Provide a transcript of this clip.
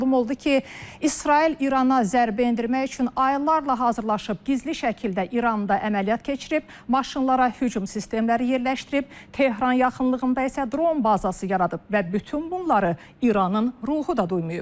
Məlum oldu ki, İsrail İrana zərbə endirmək üçün aylarla hazırlaşıb, gizli şəkildə İranda əməliyyat keçirib, maşınlara hücum sistemləri yerləşdirib, Tehran yaxınlığında isə dron bazası yaradıb və bütün bunları İranın ruhu da duymayıb.